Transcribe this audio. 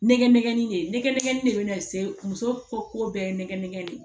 Nɛgɛ nɛgɛ de bɛ na se muso ko ko bɛɛ ye nɛgɛ de